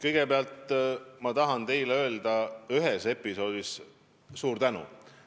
Kõigepealt, ma tahan teile öelda ühe episoodiga seoses suur tänu.